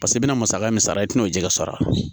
Paseke i bɛna musaka min sara i tina o jɛgɛ sɔrɔ